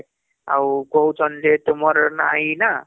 ଆଉ କହୁଛନ ଯେ ତୁମର ନା ଏଇନା